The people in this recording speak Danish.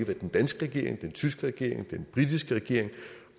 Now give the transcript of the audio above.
hvad den danske regering den tyske regering den britiske regering